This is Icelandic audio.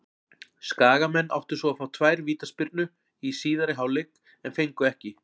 Skagamenn áttu svo að fá tvær vítaspyrnu í síðari hálfleik en fengu ekki.